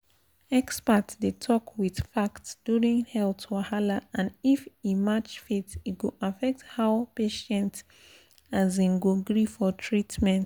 experts dey talk with fact during health wahala and if e match faith e go affect how patient um go gree for treatment.